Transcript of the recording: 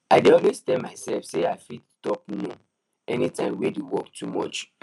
i dey always tell myself say i fit talk no anytime wey d work too much